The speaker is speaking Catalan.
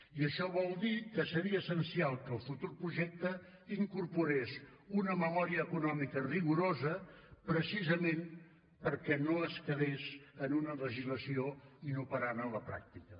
i això vol dir que seria essencial que el futur projecte incorporés una memòria econòmica rigorosa precisament perquè no es quedés en una legislació inoperant a la pràctica